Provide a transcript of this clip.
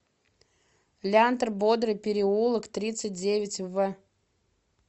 лянтор бодрый переулок тридцать девять в